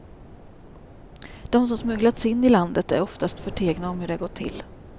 De som smugglats in i landet är oftast förtegna om hur det gått till.